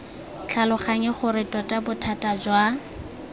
tlhaloganye gore tota bothata jwa